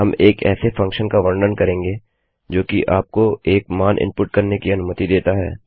हम एक ऐसे फंक्शन का वर्णन करेंगे जो कि आपको एक मान इनपुट करने की अनुमति देता है